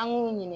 An b'u ɲininka